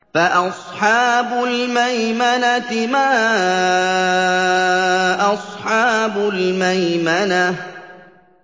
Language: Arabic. فَأَصْحَابُ الْمَيْمَنَةِ مَا أَصْحَابُ الْمَيْمَنَةِ